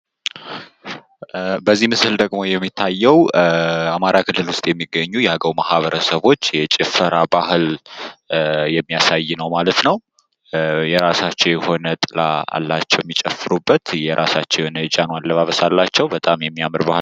በዚህ ምስል ደግሞ የሚታየው በአማራ ክልል ውስጥ የሚገኙ የአገው ማህበረሰቦች የጭፈራ ባህልን የሚያሳይ ነው። የራሳቸው የሆነ ጥላ አላቸው የሚጨፍሩበት ፣ የራሳቸው የሆነ የጃኖ አለባበስም አላቸው ።